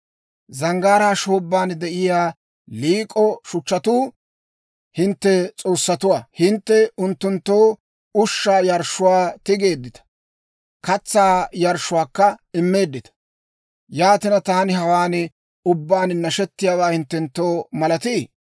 Zanggaaraa shoobban de'iyaa liik'o shuchchatuu hintte s'oossatuwaa. Hintte unttunttoo ushshaa yarshshuwaa tigeeddita; katsaa yarshshuwaakka immeeddita. Yaatina, taani hawaan ubbaan nashettiyaawaa hinttenttoo malatii?